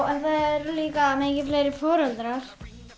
eru líka mikið fleiri foreldrar